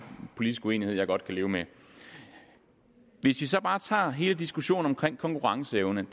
politisk uenighed som jeg godt kan leve med hvis vi så bare tager og hele diskussionen om konkurrenceevnen